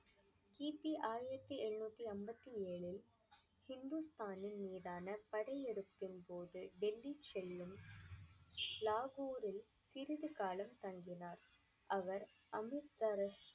கிபி ஆயிரத்தி எழுநூத்தி ஐம்பத்தி ஏழில், ஹிந்துஸ்தானின் மீதான படையெடுப்பின் போது டெல்லி செல்லும் லாகூரில் சிறிது காலம் தங்கினார் அவர் அமிர்தசரஸ்